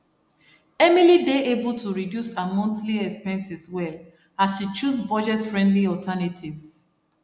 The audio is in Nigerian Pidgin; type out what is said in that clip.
emily dey able to reduce her monthly expenses well as she choose budget friendly alternatives